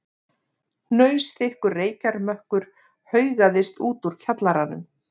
Hnausþykkur reykjarmökkur haugaðist út úr kjallaranum.